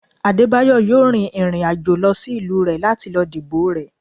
Adebayo yóò rín irín ajò lọ sí ìlú rẹ lati lo dibo rẹ